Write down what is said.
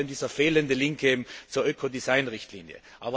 Unter anderem dieser fehlende Link zur Ökodesignrichtlinie.